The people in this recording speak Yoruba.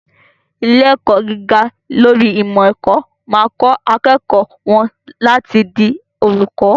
Ilé-ẹ̀kọ́ gíga lórí ìmọ̀-ẹ̀kọ́ máa kọ́ àwọn akẹ́kọ̀ọ́ wọ́n láti di olùkọ́.